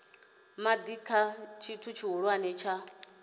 madi kha tshithu tshihulwane tsha